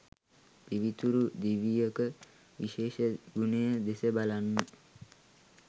පිවිතුරු දිවියක විශේෂ ගුණය දෙස බලන්න.